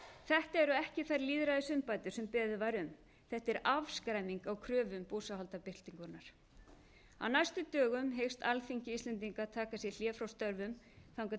þetta eru ekki þær lýðræðisumbætur sem beðið var um þetta er afskræming á kröfum búsáhaldabyltingarinnar á næstu dögum hyggst alþingi íslendinga taka sér hlé frá störfum þangað